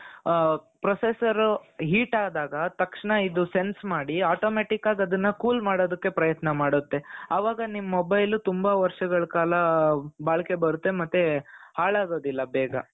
ಆ processor heat ಆದಾಗ ತಕ್ಷಣ ಇದು sense ಮಾಡಿ automatic ಆಗಿ ಅದನ್ನ cool ಮಾಡೋದಕ್ಕೆ ಪ್ರಯತ್ನ ಮಾಡುತ್ತೆ ಆವಾಗ ನಿಮ್ಮ mobile ತುಂಬಾ ವರ್ಷಗಳ ಕಾಲ ಬಾಳಿಕೆ ಬರುತ್ತೆ ಮತ್ತೆ ಹಾಲಾಗೋದಿಲ್ಲ ಬೇಗ .